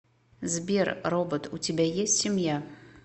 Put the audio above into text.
сбер робот у тебя есть семья